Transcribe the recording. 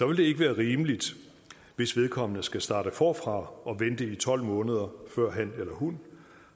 vil det ikke være rimeligt hvis vedkommende skal starte forfra og vente i tolv måneder før han eller hun